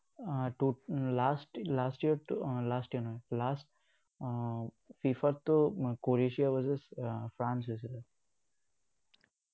উহ ah last last year ত um last year নহয়, last ah FIFA ততো Croatia versus এৰ ফ্ৰান্স আছিলে।